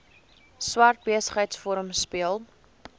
swart besigheidsforum speel